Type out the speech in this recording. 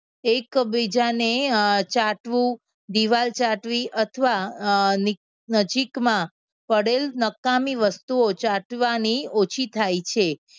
એકબીજાને અમ ચાટવું, દિવાલ ચાટવી અથવા અમ નજીકમાં પડેલ નકામી વસ્તુઓ ચાટવાની ઓછી થાય છે.